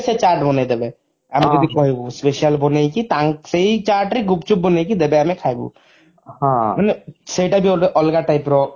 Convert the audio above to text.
ସେ ଚାଟ ବନେଇଦେବେ ଆମେ ଯଦି କହିବୁ special ବନେଇକି ସେଇ ଚାଟରେ ଗୁପଚୁପ ବନେଇକି ଦେବେ ଆମେ ଖାଇବୁ ମାନେ ସେଟା ବି ଗୋଟେ ଅଲଗା type ର